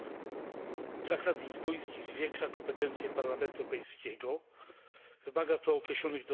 Traktat lizboński zwiększa kompetencje Parlamentu Europejskiego, wymaga to określonych dostosowań.